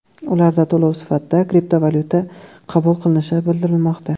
Ularda to‘lov sifatida kriptovalyuta qabul qilinishi bildirilmoqda.